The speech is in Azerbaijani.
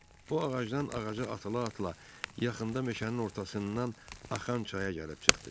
O ağacdan ağaca atıla-atıla yaxında meşənin ortasından axan çaya gəlib çıxdı.